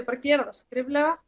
bara gera það skriflega